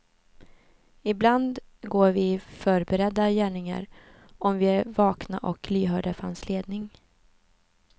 Ibland går vi i förberedda gärningar, om vi är vakna och lyhörda för hans ledning.